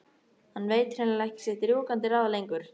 Hann veit hrein- lega ekki sitt rjúkandi ráð lengur.